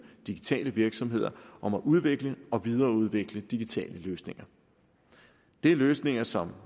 digitale virksomheder om at udvikle og videreudvikle digitale løsninger det er løsninger som